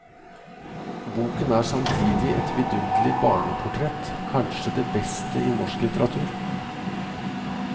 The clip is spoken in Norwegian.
Boken er samtidig et vidunderlig barneportrett, kanskje det beste i norsk litteratur.